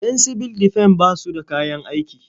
Yan sibil defen ba su da kayan aiki.